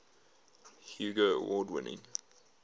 hugo award winning